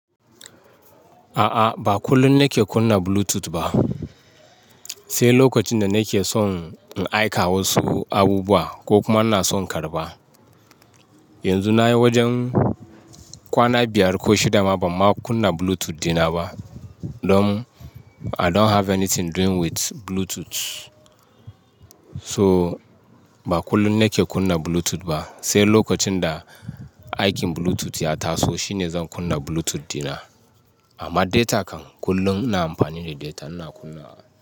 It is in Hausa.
A'a, ba kullum nake kunna Bluetooth ba. Sai lokacin da nake son in aika wasu abubuwa ko kuma ina son karɓa. Yanzu na yi wajen kwana biyar ko shida ma ban ma kunna Bluetooth dina ba. Don I don't have anything doing with Bluetooth. So ba kullum nake kunna Bluetooth ba, sai lokacin da aikin Bluetooth ya taso shine zan kunna Bluetooth dina. Amma data kan kullum ina amfani da data ina kunna.